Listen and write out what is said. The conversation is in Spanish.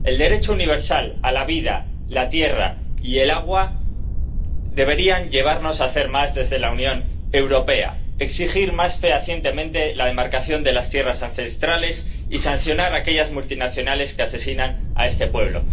El derecho universal a la vida, la tierra y el agua deberían llevarnos a hacer más desde la Unión Europea exigir más fehacientemente la demarcación de las tierras ancestrales y sancionar a aquellas multinacionales que asesinan a este pueblo.